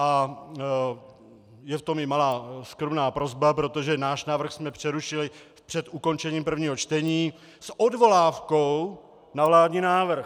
A je v tom i malá skromná prosba, protože náš návrh jsme přerušili před ukončením prvního čtení s odvolávkou na vládní návrh.